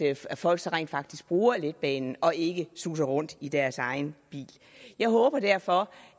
altså at folk så rent faktisk bruger letbanen og ikke suser rundt i deres egen bil jeg håber derfor